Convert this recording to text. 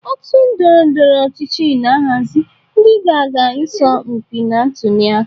Otu ndọrọ ndọrọ ọchịchị na-ahazi ndị ga-aga ịsọ mpi na ntuli aka.